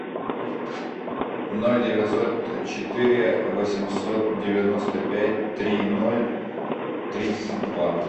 ноль девятьсот четыре восемьсот девяносто пять три ноль тридцать два